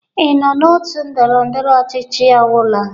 Ị nọ n'otu ndọrọndọrọ ọchịchị ọ bụla?